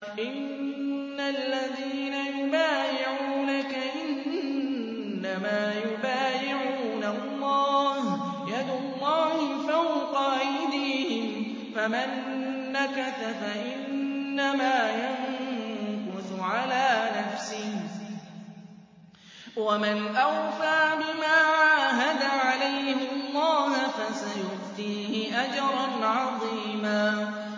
إِنَّ الَّذِينَ يُبَايِعُونَكَ إِنَّمَا يُبَايِعُونَ اللَّهَ يَدُ اللَّهِ فَوْقَ أَيْدِيهِمْ ۚ فَمَن نَّكَثَ فَإِنَّمَا يَنكُثُ عَلَىٰ نَفْسِهِ ۖ وَمَنْ أَوْفَىٰ بِمَا عَاهَدَ عَلَيْهُ اللَّهَ فَسَيُؤْتِيهِ أَجْرًا عَظِيمًا